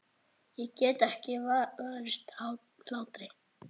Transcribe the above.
Ég get ekki varist hlátri.